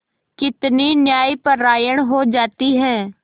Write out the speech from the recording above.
कितनी न्यायपरायण हो जाती है